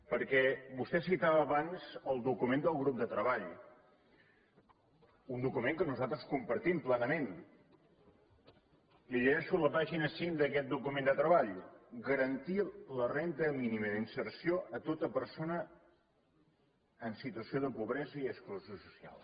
perquè vostè citava abans el document del grup de treball un document que nosaltres compartim plenament li llegeixo la pàgina cinc d’aquest document de treball garantir la renda mínima d’inserció a tota persona en situació de pobresa i exclusió social